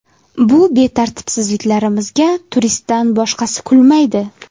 Bu betartibliklarimizga turistdan boshqasi kulmaydi.